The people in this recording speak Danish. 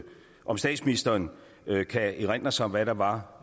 om statsministeren kan erindre sig hvad der var